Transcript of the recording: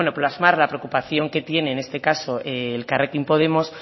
plasmar la preocupación que tiene en este caso elkarrekin podemos